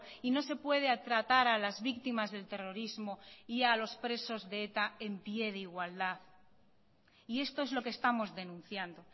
y no se puede tratar a las víctimas del terrorismo y a los presos de eta en pie de igualdad y esto es lo que estamos denunciando